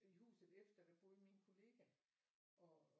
I huset efter der boede min kollega